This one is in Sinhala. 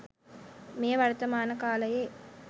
මෙය වර්තමාන කාලයේ